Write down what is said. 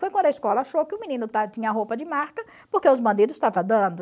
Foi quando a escola achou que o menino tinha roupa de marca porque os bandidos estavam dando.